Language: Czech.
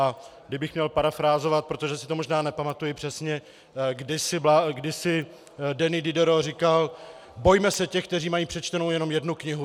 A kdybych měl parafrázovat, protože si to možná nepamatuji přesně, kdysi Denis Diderot říkal: Bojme se těch, kteří mají přečtenou jenom jednu knihu.